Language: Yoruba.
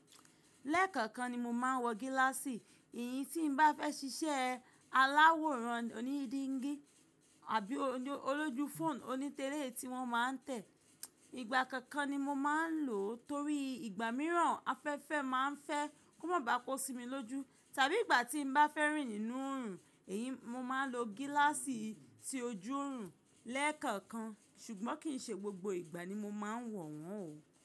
Lẹ́ẹ̀kọ̀kan ni mo máa ń wọ gíláàsì. Èyí tí n bá fẹ́ ṣiṣẹ́ aláwòrán oní dígí àbí olójú fóònù oní tẹréè tí wọ́n máa ń tẹ̀, ìgbà kọ̀ọ̀kan ni mo máa ń lò torí ìgbà mìíràn afẹ́fẹ́ máa ń fẹ́ kó má ba kọ sí mi lójú. Tàbí ìgbà tí n bá fẹ́ rìn nínú òòrùn, èyí ni mo máa lò gíláàsì tí óju oòrùn lẹ́ẹ̀kọ̀okan ṣùgbọ́n kì í ṣe gbogbo ìgbà ni mo máa ń wọ̀ wọ́n o.